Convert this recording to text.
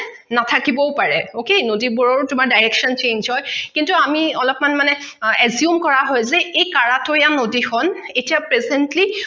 নাথাকিবও পাৰে okay নদীবোৰৰো তোমাৰ direction change হয় কিন্তু আমি অলপমান মানে assume কৰা হয় যে এই কাৰাটৈয়া নদীখন এতিয়া presently